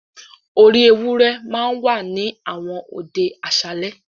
“orí ewúrẹ́ ” ma ń wà ní àwọn òde àṣálẹ́.